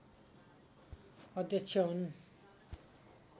अध्यक्ष हुन्